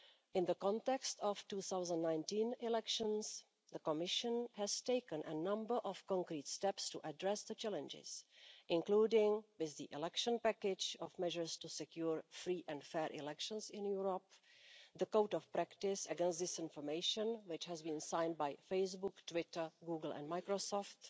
In the context of the 2019 elections, the Commission has taken a number of concrete steps to address the challenges, including with the election package of measures to secure free and fair elections in Europe, with the Code of Practice on Disinformation, which has been signed by Facebook, Twitter, Google and Microsoft,